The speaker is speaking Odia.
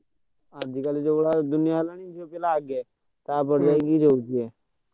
ଆଜି କଲି ଯାହା ଯୁଗ ହେଲାଣି ।